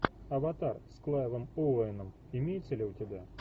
аватар с клайвом оуэном имеется ли у тебя